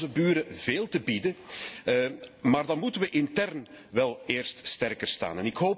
Wij hebben onze buren veel te bieden, maar dan moeten wij intern wel eerst sterker staan.